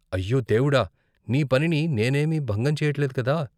అయ్యో దేవుడా! నీ పనిని నేనేమీ భంగం చెయ్యట్లేదు కదా.